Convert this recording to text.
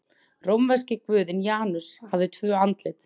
Rómverski guðinn Janus hafði tvö andlit.